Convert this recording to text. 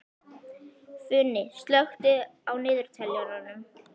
Funi, slökktu á niðurteljaranum.